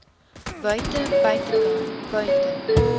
buite buitekant buite